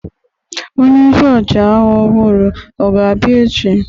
Onye isi ọchịagha ọhụrụ ọ ga-abịa echi?